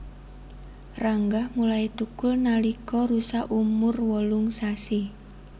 Ranggah mulai thukul nalika rusa umur wolung sasi